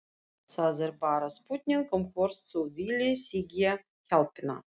Það er bara spurning um hvort þú viljir þiggja hjálpina.